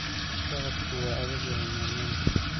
Socodku waa adag yahay maalmahan